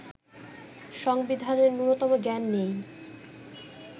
সংবিধানের ন্যূনতম জ্ঞান নেই